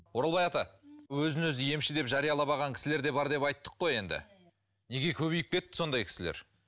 оралбай ата өзін өзі емші деп жариялап алған кісілер де бар деп айттық қой енді неге көбейіп кетті сондай кісілер